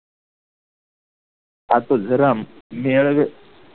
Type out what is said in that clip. આખું